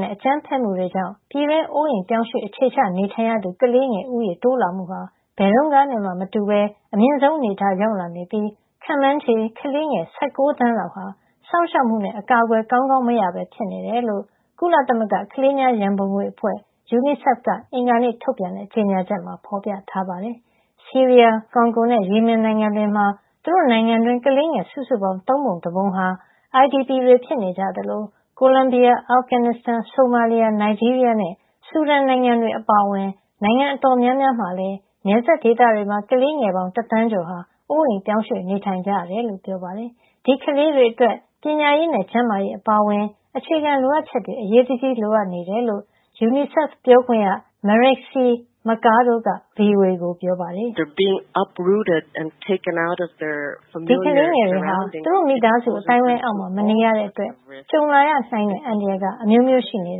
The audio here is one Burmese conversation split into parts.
နဲ့ အကြမ်းဖက်မှုတွေကြောင့် ပြည်တွင်း နေရပ်စွန့်ခွာနေထိုင်ရသူ ကလေးငယ် ဦးရေတိုးလာမှုဟာ ဘယ်တုန်းကနဲ့မှ မတူပဲ အမြင့်ဆုံး အနေထားကို ရောက်လာနေ ပြီး ခန့်မှန်းခြေ ကလေးငယ် ၁၉ သန်းလောက်ဟာ စောင့်ရှောက်မှုနဲ့ အကာကွယ် ကောင်းကောင်း မရပဲ ဖြစ်နေတယ်လို့ ကုလသမဂ္ဂ ကလေးများရန်ပုံငွေအဖွဲ့ UNICEF က အင်္ဂါနေ့ ထုတ်ပြန်တဲ့ ကြေညာချက်မှာ ဖေါ်ပြထားပါတယ်။ ဆီးရီးယား၊ ကွန်ဂိုနဲ့ ယီမင်နိုင်ငံတွေမှာ သူတို့ နိုင်ငံတွင်း ကလေးငယ် စုစုပေါင်း သုံးပုံ တပုံဟာ IDP ဖြစ်နေကြသလို ကိုလံဘီယာ၊ အာဖဂန်နစ်စတန်၊ ဆိုမာလီယာ၊ နိုင်ဂျီးရီးယားနဲ့ ဆူဒန်နိုင်ငံတွေ အပါအဝင် နိုင်ငံအတော်များများမှာလည်း နယ်စပ်ဒေသတွေမှာ ကလေးငယ်ပေါင်း တသန်းကျော်ဟာ အိုးအိမ်ရွှေ့ပြောင်းနေထိုင် နေရတယ်လို့လည်းပြောပါတယ်။ ဒီကလေးတွေ အတွက် ပညာရေးနဲ့ ကျန်းမာရေး အပါအဝင် အခြေခံ လိုအပ်ချက်တွေ အရေးတကြီး လိုအပ်နေတယ်လို့ UNICEF ပြောခွင့်ရ Marixie Mercado က VOA ကို ပြောပါတယ်။ “ဒီကလေးတွေဟာ သူတို့မိသားစု အသိုင်းဝိုင်း အောက်မှာ မနေရတဲ့ အတွက် ကြုံလာရနိုင်တဲ့ အန္တရာယ် အမျိုးမျိုး ရှိနေ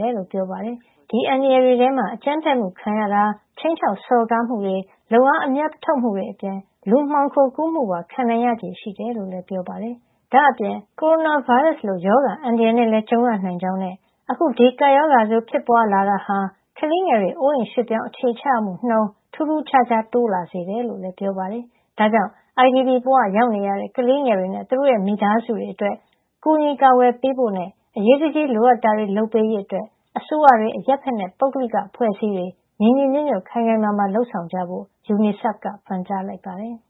တယ်လို့ ပြောသွားတာပါ။ ဒီအန္တရာယ် တွေထဲမှာ အကြမ်းဖက်မှု ခံရတာ၊ ခြိမ်းခြောက်စော်ကား မှုတွေ၊ လုပ်အား အမြတ်ထုတ်မှုတွေ အပြင် လူမှောင်ခိုကူးမှုပါ ခံရနိုင်ခြေရှိတယ်လို့လည်း ပြောပါတယ်။” ဒါ့အပြင် ကိုရိုနာဗိုင်းရပ်စ် လို ရောဂါအန္တရာယ်နဲ့လည်း ကြုံရနိုင်ကြောင်းနဲ့ အခု ဒီကပ်ရောဂါ ဆိုးဖြစ်ပွားလာ တာဟာ ကလေးငယ်တွေ နေရပ်စွန့်ခွာ အခြေချရမှုနှုန်း ထူးထူးခြားခြား တိုးလာစေတယ်လို့လည်းပြောပါတယ်။ ဒါကြောင့် IDP ဘဝရောက်နေရတဲ့ ကလေးငယ်တွေနဲ့သူတို့ရဲ့ မိသားစုတွေ အတွက် ကူညီကာကွယ်ပေးဖို့နဲ့ အရေးတကြီးလိုအပ်တာတွေကို လုပ်ပေးရေး အတွက် အစိုးရတွေ၊ အရပ်ဘက်နဲ့ ပုဂ္ဂလိက အဖွဲ့အစည်းတွေ ညီညီညွတ်ညွတ်နဲ့ ခိုင်ခိုင်မာမာ လုပ်ဆောင်ကြဖို့ UNICEF က ပန်ကြားလိုက်ပါတယ်။